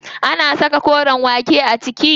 An saka koren waken a ciki?